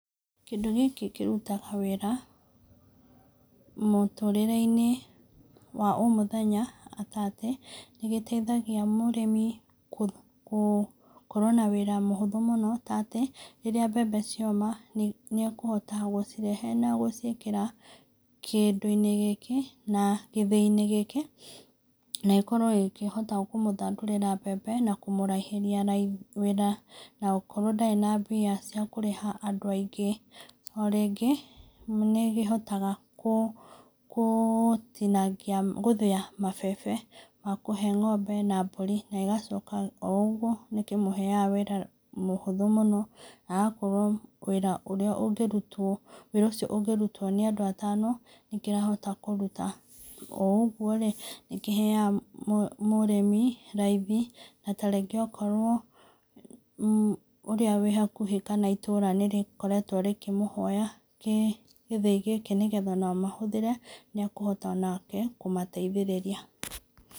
Kĩndũ gĩkĩ kĩrutaga wĩra, mũtũrĩre-inĩ wa o mũthenya ta atĩ, nĩgĩteithagia mũrĩmi kũ gũkorwo na wĩra mũhũthũ mũno ta atĩ, rĩrĩa mbembe cioma, nĩ akũhota gũcirehe na gũciĩkĩra kĩndũ-inĩ ,na gĩthĩi-inĩ gĩkĩ na gĩkorwo gĩkĩhota kũmũthandurĩra mbembe na kũmũraihĩria wĩra, na okorwo ndarĩ na mbia cia kũrĩha andũ aingĩ, o rĩngĩ nĩkĩhotaga kũ kũtinagia, gũthĩa mabebe makũhe ngombe na mburi, na ĩgacoka o ũgwo, nĩkĩmũheaga wĩra mũhũthũ mũno , agakora wĩra ũrĩa ũngĩrutwo, wĩra ũcio ũngĩrutwo nĩ andũ atano, nĩkĩrahota kũruta, o ũgwo rĩ ,nĩkĩheaga mũrĩmi raithi, na ta rĩngĩ tokorwo ũrĩa wĩ hakuhĩ kana itũra nĩrĩkoretwo rĩkĩmũhoya gĩthiĩ gĩkĩ, nĩgetha onao mahũthĩre, nĩ akũhota onake kũmateithĩrĩria.